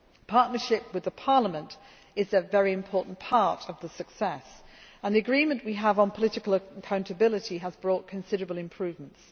Partnership with Parliament is a very important part of the success, and the agreement we have on political accountability has brought considerable improvements.